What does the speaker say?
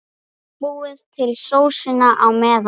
Búið til sósuna á meðan.